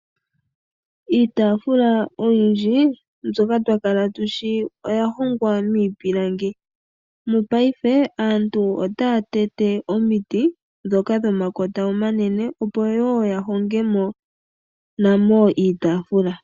Iitaafula oyindji mbyoka twa kala tushi, oya hongwa miipilangi . Mopaife aantu otaya tete omiti ndhoka dhomalota dhomakota omanene, opo wo yahonge mo namo iitaafula.